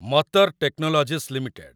ମତର technologies limited